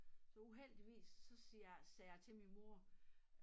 Så uheldigvis så siger jeg sagde jeg til min mor